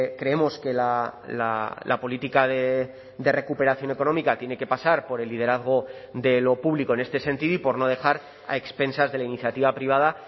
creemos que la política de recuperación económica tiene que pasar por el liderazgo de lo público en este sentido y por no dejar a expensas de la iniciativa privada